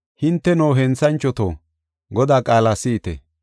hinteno, henthanchoto, Godaa qaala si7ite.